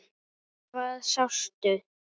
Hvað sástu?